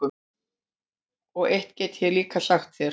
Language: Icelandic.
Og eitt get ég líka sagt þér,